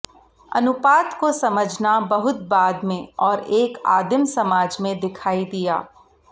अनुपात को समझना बहुत बाद में और एक आदिम समाज में दिखाई दिया